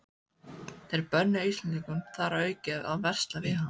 Þeir bönnuðu Íslendingum þar að auki að versla við hann.